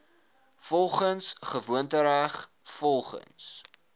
volgens gewoontereg volgens